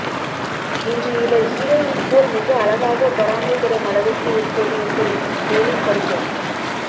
இன்று இவர் ஹீரோயின் போல் மிக அழகாக பொறாமைப்படும் அளவுக்கு இருப்பது எப்படி மேலும் படிக்க